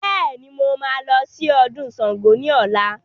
Bẹẹni, mo máa lọ sí ọdún Sángo ni ọ̀la